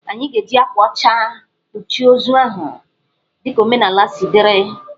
Anyị ga-eji akwa ọcha kpuchie ozu ahụ dị ka omenaala si dịrị.